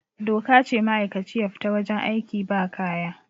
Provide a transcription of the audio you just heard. doka ce ma'aikaci ya fita wajen aiki ba kaya